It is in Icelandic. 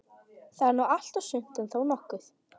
Það er nú allt og sumt, en þó nokkuð.